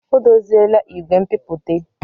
O dozila igwe nbipute.